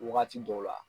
Wagati dɔw la